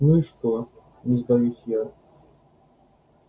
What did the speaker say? ну и что не сдаюсь я